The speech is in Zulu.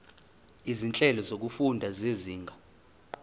izinhlelo zokufunda zezinga